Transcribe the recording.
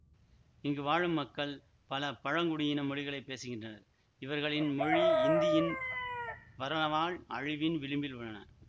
இங்கு வாழும் மக்கள் பல பழங்குடியின மொழிகளை பேசுகின்றனர் இவர்களின் மொழி இந்தியின் வரனவால் அழிவின் விளிம்பில் உள்ளன